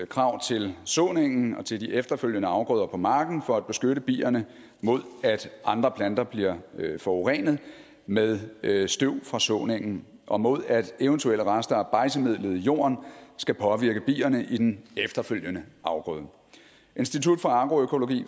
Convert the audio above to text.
krav til såningen og til de efterfølgende afgrøder på marken for at beskytte bierne mod at andre planter bliver forurenet med støv fra såningen og mod at eventuelle rester af bejdsemidlet i jorden skal påvirke bierne i den efterfølgende afgrøde institut for agroøkologi